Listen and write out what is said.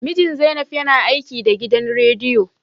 Mijin Zainab yana aiki da gidan rediyo